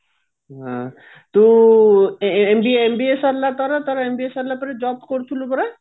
ହୁଁ ତୁ MBA MBA ସରିଲା ତୋର ତୋର MBA ସରିଲା ପରେ job କରୁଥିଲୁ ପରା